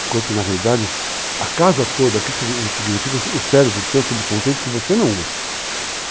Enquanto que, na realidade, a casa toda aqui significa o cérebro, o teu subconceito, que você não usa.